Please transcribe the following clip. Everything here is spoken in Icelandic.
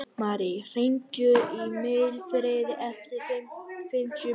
Marí, hringdu í Mildfríði eftir fimmtíu mínútur.